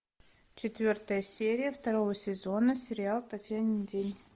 четвертая серия второго сезона сериал татьянин день